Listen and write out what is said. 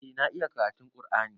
Eh na iya karatun ƙur'ani.